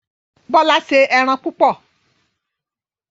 Bola yóò ṣe èràn púpọ.